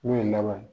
N'o ye laban ye